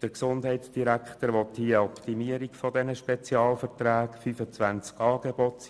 Der Gesundheitsdirektor will hier eine Optimierung dieser Spezialverträge erreichen.